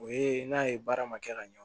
O ye n'a ye baara ma kɛ ka ɲɛ